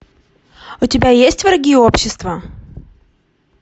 у тебя есть враги общества